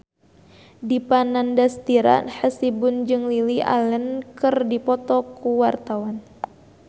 Dipa Nandastyra Hasibuan jeung Lily Allen keur dipoto ku wartawan